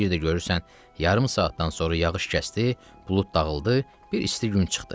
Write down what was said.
Bir də görürsən yarım saatdan sonra yağış kəsdi, bulud dağıldı, bir isti gün çıxdı.